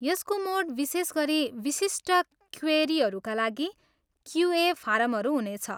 यसको मोड विशेष गरी विशिष्ट क्वेरीहरूका लागि क्युए फारमहरू हुनेछ।